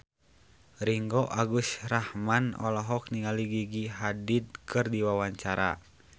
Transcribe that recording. Ringgo Agus Rahman olohok ningali Gigi Hadid keur diwawancara